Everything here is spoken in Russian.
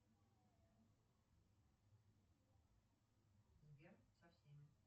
сбер со всеми